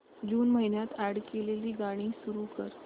जून महिन्यात अॅड केलेली गाणी सुरू कर